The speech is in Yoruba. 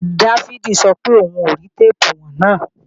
Dáfídì sọ pé òun kò rí téèpù ìwọ̀n náà